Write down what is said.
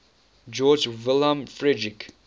georg wilhelm friedrich